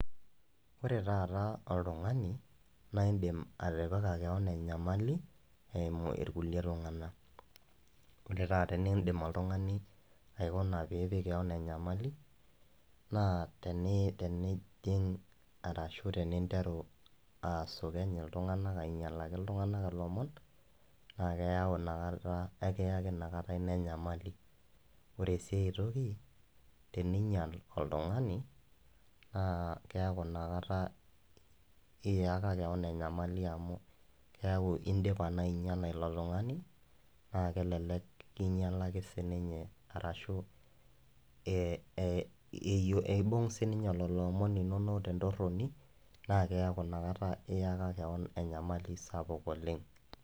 Ore taata oltung'ani, naa indim atipika kewon enyamali, eimu ilkulie tung'anak. Metaa tenindim oltung'ani aikuna pee ipik kewon enyamali, naa tenejing' arashu teninteru asukeny iltung'ana, ainyalaki iltung'ana ilomon, naa ekeyau inakata ekiyaki enyamali . Ore si ai toki, teninyal oltung'ani, naa keaku Ina kata eyaka kewan enyamali amu indipa naa ainyala ilo tung'ani naa kelelek kinyalaki siininye, arashu eibung' sininye lelo omon linono tentoroni, naa keyaku Ina kata iyaka kewan enyamali sapuk oleng'.